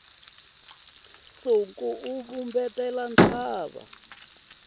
na siku wu vumbetela ntshava